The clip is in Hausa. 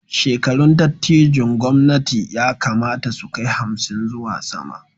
Shekarun dattijon gwamnati ya kamata su kai hamsin zuwa sama